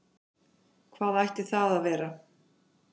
Hvað ætti það að vera?